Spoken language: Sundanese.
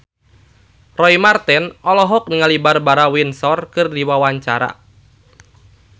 Roy Marten olohok ningali Barbara Windsor keur diwawancara